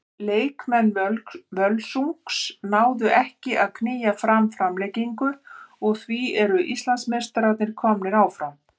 Leikmenn Völsungs náðu ekki að að knýja fram framlengingu og því eru Íslandsmeistararnir komnir áfram.